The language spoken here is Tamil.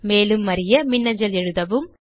மேலும் அறிய மின்னஞ்சல் எழுதவும்